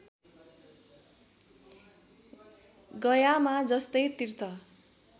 गयामा जस्तै तीर्थ